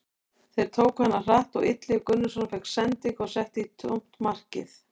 Þeir tóku hana hratt og Illugi Gunnarsson fékk sendingu og setti í tómt markið.